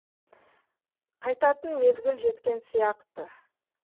қайтатын мезгіл жеткен сияқ ты